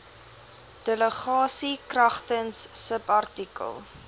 delegasie kragtens subartikel